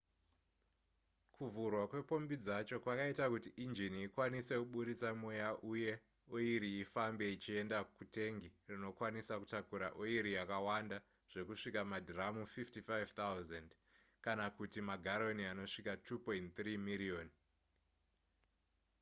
kuvhurwa kwepombi dzacho kwaiita kuti enjini ikwanise kuburitsa mweya uye oiri ifambe ichienda kutengi rinokwanisa kutakura oiri yakawanda zvekusvika madhiramu 55 000 kana kuti magaroni anosvika 2.3 miriyoni